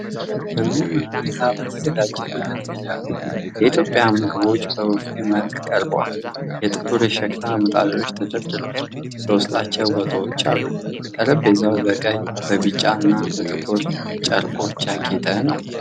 በሚያምር ሁኔታ በተዘጋጀ መደርደሪያ ላይ የኢትዮጵያ ምግቦች በቡፌ መልክ ቀርበዋል። ጥቁር የሸክላ ምጣዶች ተደርድረዋል፣ በውስጣቸውም ወጦች አሉ። ጠረጴዛው በቀይ፣ በቢጫና በጥቁር ጨርቆች ያጌጠ ነው።